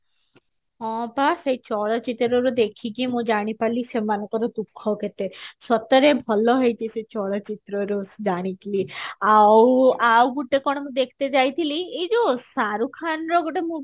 ହଁ ପା ସେ ଚଳଚିତ୍ରରେ ମୁଁ ଦେଖିକି ମୁଁ ଜାଣି ପାରିଲି ସେମାନଙ୍କର ଦୁଖ କେତେ ସତରେ ଭଲ ହେଇଛି ସେ ଚଳଚିତ୍ରରୁ ଜାଣିକି ଆଉ ଗୋଟେ କଣ ମୁଁ ଦେଖି ତ ଯାଇଥିଲେ ଏଇ ଯୋଉ ସାରୁ ଖାନ ର ଗୋଟେ movie